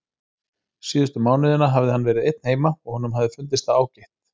Síðustu mánuðina hafði hann verið einn heima og honum hafði fundist það ágætt.